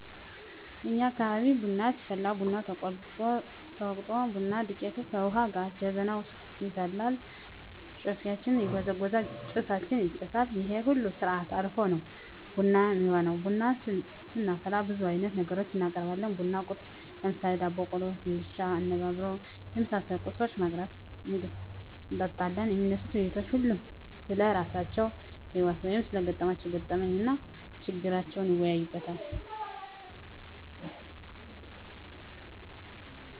እኛ አካባቢ ቡና ሲፈላ ቡናው ተቆልቶ፣ ተወቅጦ፣ ቡና ዱቄቱ ከዉሀ ጋ ጀበናዉ ዉስጥ ይፈላል፣ ጨፌያችን ይጎዘጎዛል፣ ጭሳችን ይጨሳል ይሄን ሁሉ ስርአት አልፋ ነዉ ቡና እሚሆነዉ። ቡና ስናፈላ ብዙ አይነት ነገሮችን እናቀርባለን(ቡና ቁርስ ) ለምሳሌ፦ ዳቦ፣ ቆሎ፣ ፈንድሻ፣ አነባበሮ የመሳሰሉ ቁርሶችን በማቅረብ እንጠጣለን። የሚነሱት ዉይይቶች ሁሉም ስለራሳቸዉ ህይወት(ስለገጠማቸዉ ገጠመኝ) እና ችግራቸዉን ይወያያል፣